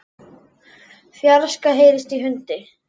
fjarska heyrist í hundi.